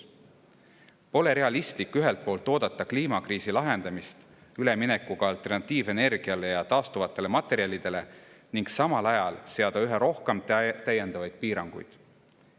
Pole realistlik ühelt poolt oodata kliimakriisi lahendamist üleminekuga alternatiivenergiale ja taastuvatele materjalidele ning samal ajal seada üha rohkem täiendavaid piiranguid.